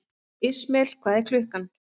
Ismael, hvað er klukkan?